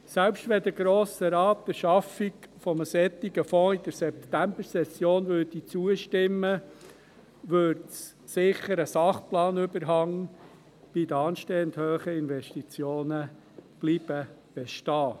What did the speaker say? Selbst wenn der Grosse Rat der Schaffung eines solchen Fonds in der Septembersession zustimmte, bliebe ein Sachplanungsüberhang bei den anstehenden hohen Investitionen bestehen.